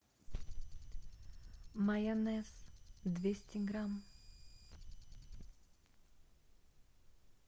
майонез двести грамм